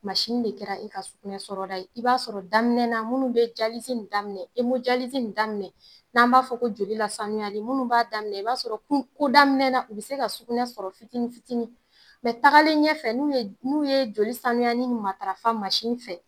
Masini de kɛra e ka ɲɛgɛnɛ sɔrɔda ye i b'a sɔrɔ daminɛ na munnu be jalizi nin daminɛ e mo jalizi nin daminɛ n'an b'a fɔ ko joli la sanuyali munnu b'a daminɛ i b'a sɔrɔ ku ko daminɛ na u be se ka sunɛ sɔrɔ fitini fitini mɛ tagalen ɲɛfɛ nu ye nu ye joli sanuyani nin matarafa masi fɛ